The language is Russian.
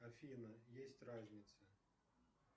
афина есть разница